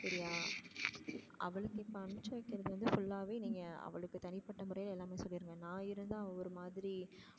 சரியா அவளுக்கு function போறது சொல்லாம தனிப்பட்ட முறையில அவள்ட சொல்லிருங்க நா இருந்த அவ ஒரு மாதிரி